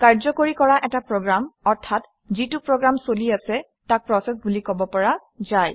কাৰ্যকৰী কৰা এটা প্ৰগ্ৰেম অৰ্থাৎ যিটো প্ৰগ্ৰাম চলি আছে তাক প্ৰচেচ বুলি কব পৰা যায়